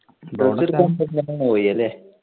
എടുക്കാൻ പെട്ടന്ന് പോയി അല്ലെ